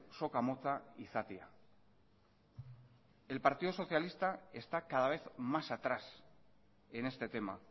soka motza izatea el partido socialista está cada vez más atrás en este tema